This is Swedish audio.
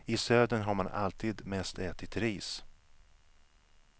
I södern har man alltid mest ätit ris.